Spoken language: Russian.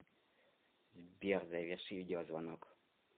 сбер заверши видеозвонок